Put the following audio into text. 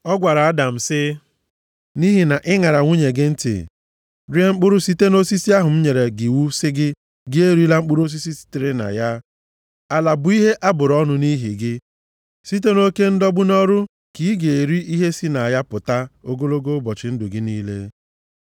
Ọ gwara Adam sị, “Nʼihi na ị ṅara nwunye gị ntị, rie mkpụrụ site nʼosisi ahụ m nyere gị iwu sị, ‘Gị erila mkpụrụ sitere na ya,’ “Ala bụ ihe a bụrụ ọnụ nʼihi gị, site nʼoke ndọgbu nʼọrụ ka ị ga-eri ihe si na ya pụta ogologo ụbọchị ndụ gị niile.